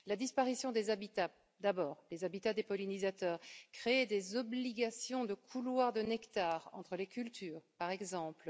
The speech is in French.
La disparition des habitats, d'abord, les habitats des pollinisateurs créer des obligations de couloirs de nectar entre les cultures, par exemple.